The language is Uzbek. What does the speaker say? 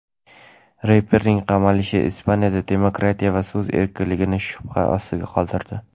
Reperning qamalishi Ispaniyada demokratiya va so‘z erkinligini shubha ostida qoldirdi.